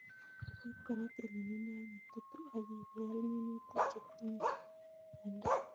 Rip kora tililindo ok itutu ak ibel minutik chetinde miondo.